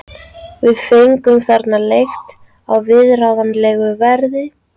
Við fengum þarna leigt á viðráðanlegu verði.